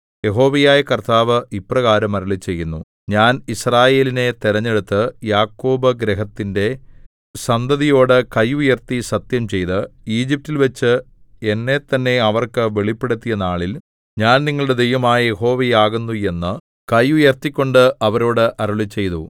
യഹോവയായ കർത്താവ് ഇപ്രകാരം അരുളിച്ചെയ്യുന്നു ഞാൻ യിസ്രായേലിനെ തിരഞ്ഞെടുത്ത് യാക്കോബ് ഗൃഹത്തിന്റെ സന്തതിയോടു കൈ ഉയർത്തി സത്യംചെയ്ത് ഈജിപ്റ്റിൽവെച്ച് എന്നെത്തന്നെ അവർക്ക് വെളിപ്പെടുത്തിയ നാളിൽ ഞാൻ നിങ്ങളുടെ ദൈവമായ യഹോവയാകുന്നു എന്ന് കൈ ഉയർത്തിക്കൊണ്ട് അവരോട് അരുളിച്ചെയ്തു